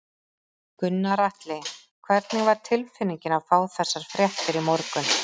Gunnar Atli: Hvernig var tilfinningin að fá þessar fréttir í morgun?